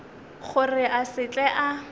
gore a se tle a